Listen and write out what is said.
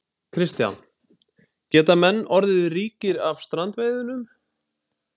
Kristján: Geta menn orðið ríkir af strandveiðunum?